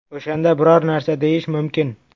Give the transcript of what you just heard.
O‘shanda biror narsa deyish mumkin.